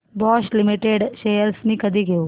Bosch limited shares मी कधी घेऊ